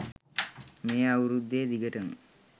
මේ අවුරුද්දේ දිගටම